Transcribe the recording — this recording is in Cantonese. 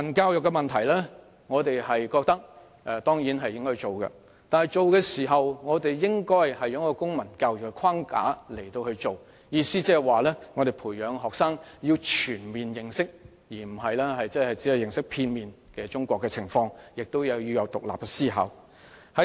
對於國民教育，我們當然認為應要推行，但卻應在公民教育的框架下推行，意思是培養學生全面而非片面認識中國情況，同時亦要有獨立思考。